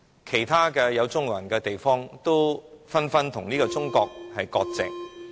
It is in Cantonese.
其他地方的中國人，都紛紛與中國割席。